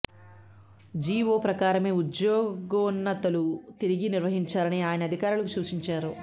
GO ప్రకారమే ఉద్యోగోన్నతులు తిరిగి నిర్వహించాలని ఆయన అధికారులకు సూచించారు